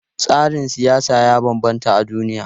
Tsarin siyasa ya bambanta a duniya.